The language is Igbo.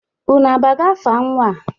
Unu agbago afa nnwa a?